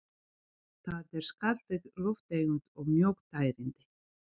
Það er skaðleg lofttegund og mjög tærandi.